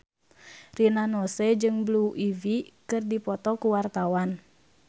Rina Nose jeung Blue Ivy keur dipoto ku wartawan